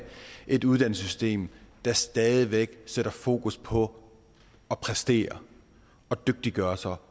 et uddannelsessystem der stadig væk sætter fokus på at præstere og dygtiggøre sig